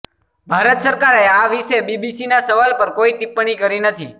ભારત સરકારે આ વિશે બીબીસીના સવાલ પર કોઈ ટિપ્પણી કરી નથી